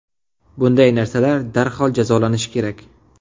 Bunday narsalar darhol jazolanishi kerak.